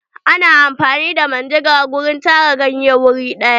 Ana amfani da manjagara wajen tara ganye wuri ɗaya.